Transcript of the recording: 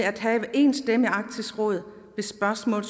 at have én stemme i arktisk råd ved spørgsmål